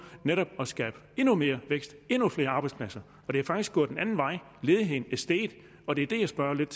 netop at skabe endnu mere vækst og endnu flere arbejdspladser og det er faktisk gået den anden vej ledigheden er steget og det er det jeg spørger lidt